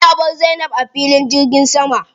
Aminu ya bar Zainab a filin jirgin sama.